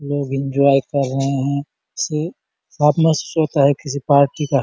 लोग एन्जॉय कर रहै है से साथ में है किसी पार्टी का --